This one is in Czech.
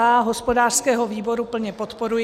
A hospodářského výboru plně podporuji.